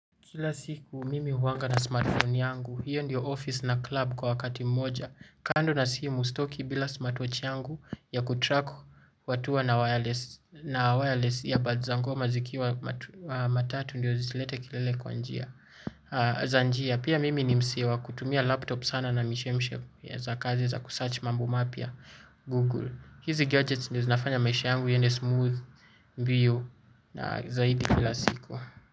Kila siku mimi huanga na smartphone yangu, hiyo ndiyo office na club kwa wakati moja, kando na siku sitoki bila smartwatch yangu ya kutrack watu na wireless ya bad za ngoma zikiwa matatu ndiyo zilete kilele kwa njia. Za njia, pia mimi ni msee kutumia laptop sana na mishemshe za kazi za kusearch mambo mapya Google. Hizi gadgets ndiyo zinafanya maisha yangu yende smooth mbio na zaidi bila siku.